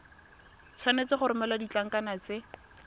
tshwanetse go romela ditlankana tse